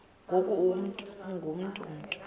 ngoku ungu mntu